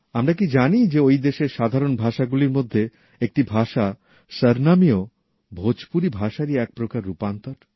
আমরা কি জানি যে ওই দেশের সাধারণ ভাষা গুলির মধ্যে একটি ভাষা সরনামি যা আসলে ভোজপুরি ভাষারই এক প্রকার রূপান্তর